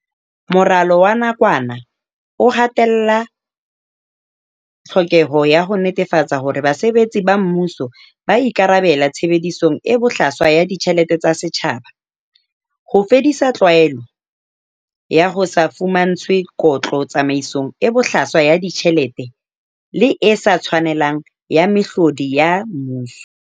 Moralo wa nakwana o ha tella tlhokeho ya ho netefatsa hore basebetsi ba mmuso ba ikarabella tshebedisong e bohlaswa ya ditjhelete tsa setjhaba, ho fedisa tlwaelo ya ho se fumantshwe kotlo tsamaisong e bohlaswa ya ditjhelete le e sa tshwanelang ya mehlodi ya mmuso.